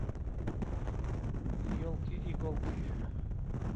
елки иголки